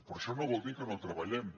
però això no vol dir que no hi treballem